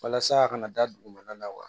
Walasa a kana da dugumana la wa